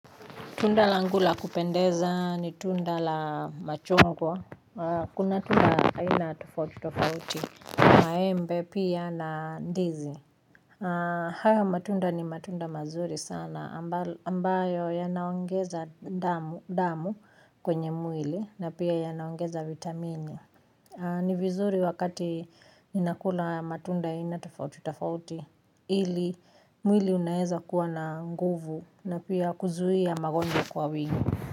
Tunda langu la kupendeza ni tunda la machungwa. Kuna tunda aina tofauti tofauti. Maembe pia na ndizi. Haya matunda ni matunda mazuri sana. Ambayo yanaongeza damu kwenye mwili. Na pia yanaongeza vitamini. Ni vizuri wakati ninakula matunda aina tofauti tofauti. Ili mwili unaweza kuwa na nguvu na pia kuzuia magonja kwa wingi.